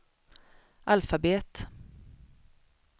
alfabet